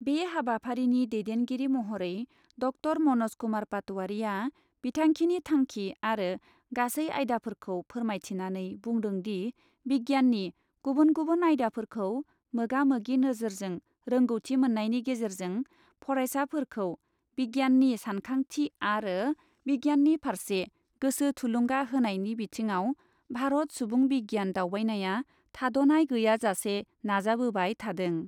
बे हाबाफारिनि दैदेनगिरि महरै ड॰ म'नज कुमार पातवारिआ बिथांखिनि थांखि आरो गासै आयदाफोरखौ फोरमायथिनानै बुंदों दि बिगियाननि गुबुन गुबुन आयदाफोरखौ मोगा मोगि नोजोरजों रोंगौथि मोननायनि गेजेरजों फरायसाफोरखौ बिगियाननि सानखांथि आरो बिगियाननि फारसे गोसो थुलुंगा होनायनि बिथिङाव भारत सुबुं बिगियान दावबायनाया थाद'नाय गैयाजासे नाजाबोबाय थादों।